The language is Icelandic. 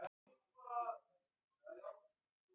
Búinn að setja hrúguna í snyrtilegan stafla við hlið hennar.